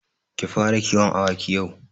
Ki fara kiwon awaki yau.